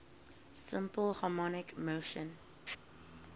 simple harmonic motion